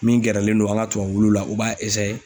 Min gɛrɛlen do an ka tubabuwulu la u b'a